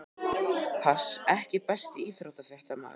Pass EKKI besti íþróttafréttamaðurinn?